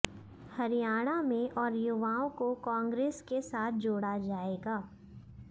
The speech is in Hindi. हरियाणा में और युवाओं को कांग्रेस के साथ जोड़ा जाएगा